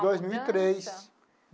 Dois mil e três.